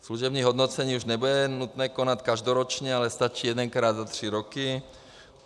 Služební hodnocení už nebude nutno konat každoročně, ale stačí jedenkrát za tři roky.